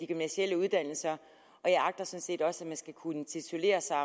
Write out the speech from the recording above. gymnasiale uddannelser og jeg agter sådan set også at man skal kunne titulere sig